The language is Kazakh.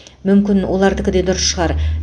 мүмкін олардікі де дұрыс шығар